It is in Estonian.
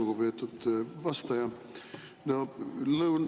Lugupeetud vastaja!